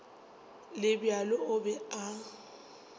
le bjalo o be a